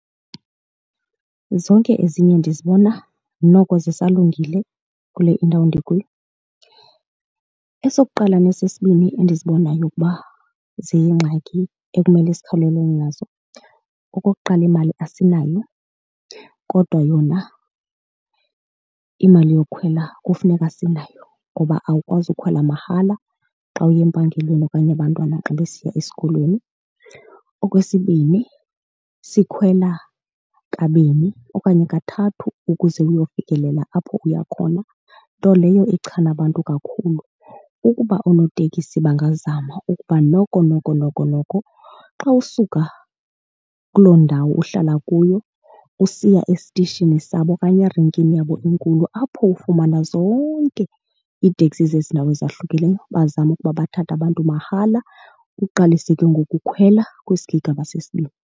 Zonke ezinye ndizibona noko zisalungile kule indawo ndikuyo. Esokuqala nesesibini endizibonayo ukuba ziyingxaki ekumele sikhawulelane nazo, okokuqala imali asinayo kodwa yona imali yokukhwela kufuneka sinayo ngoba awukwazi ukhwela mahala xa uya empangelweni okanye abantwana xa besiya esikolweni. Okwesibini sikhwela kabini okanye kathathu ukuze uyofikelela apho uya khona, nto leyo ichana abantu kakhulu. Ukuba oonotekisi bangazama ukuba noko noko noko noko xa usuka kuloo ndawo uhlala kuyo usiya esitishini sabo okanye erenkini yabo enkulu apho ufumana zonke iteksi zezi ndawo ezahlukileyo, bazame ukuba bathathe abantu mahala, uqalise ke ngoku ukhwela kwisigigaba sesibini.